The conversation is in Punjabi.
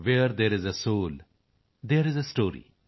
wear there is a soul there is a story